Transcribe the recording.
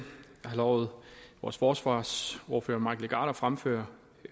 har lovet vores forsvarsordfører mike legarth at fremføre